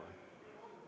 Aitäh!